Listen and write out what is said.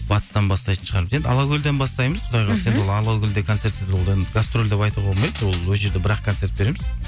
батыстан бастайтын шығармыз енді алакөлден бастаймыз құдай қаласа гастроль деп айтуға болмайды ол жерде бір ақ концерт береміз